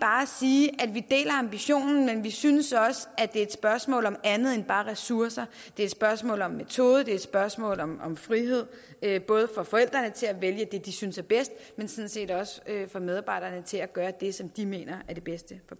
at sige at vi deler ambitionen men vi synes også det er et spørgsmål om andet end bare ressourcer det er et spørgsmål om metode det er et spørgsmål om om frihed både for forældrene til at vælge det de synes er bedst men sådan set også for medarbejderne til at gøre det som de mener er det bedste for